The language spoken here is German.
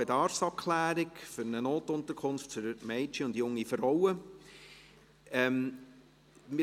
«Bedarfsabklärung für eine Notunterkunft für Mädchen und junge Frauen [...]».